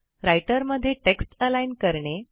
writer मध्ये text align करणे